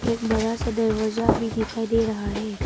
एक बड़ा सा दरवाजा भी दिखाई दे रहा है।